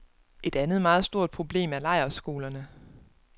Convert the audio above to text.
Et andet meget stort problem er lejrskolerne.